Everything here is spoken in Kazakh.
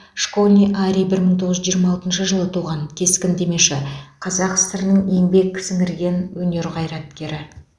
школьный арий бір мың тоғыз жүз жиырма алтыншы жылы туған кескіндемеші қазақ сср інің еңбек сіңірген өнер қайраткері